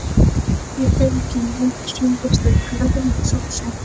Ég belgi mig út af sunnudagssteik, löðrandi í sósu.